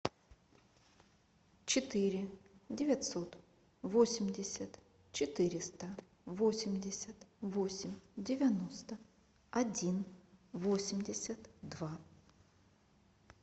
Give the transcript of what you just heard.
четыре девятьсот восемьдесят четыреста восемьдесят восемь девяносто один восемьдесят два